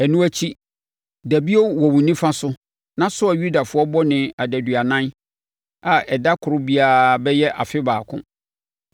“Ɛno akyi, da bio wɔ wo nifa so na soa Yudafoɔ bɔne adaduanan a ɛda koro biara bɛyɛ afe baako.